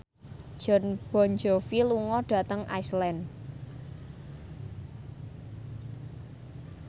Jon Bon Jovi lunga dhateng Iceland